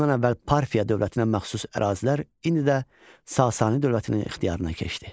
Bundan əvvəl Parfiya dövlətinə məxsus ərazilər indi də Sasani dövlətinin ixtiyarına keçdi.